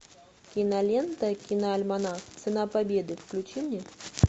кинолента киноальманах цена победы включи мне